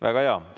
Väga hea!